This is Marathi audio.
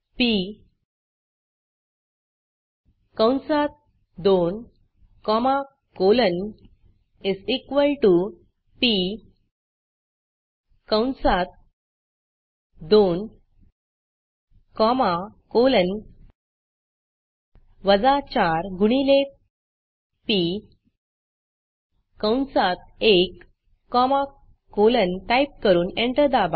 पी कंसात 2 comma colon is equal to P कंसात 2 कॉमा कोलन वजा 4 गुणिले पी कंसात 1 कॉमा कोलन टाईप करून एंटर दाबा